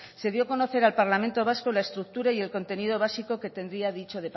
se dio a conocer al parlamento vasco la estructura y el contenido básico que tendría